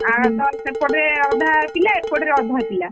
ଆଁ ତ ସେପଟେ ଅଧା ପିଲା ଏପଟରେ ଅଧା ପିଲା।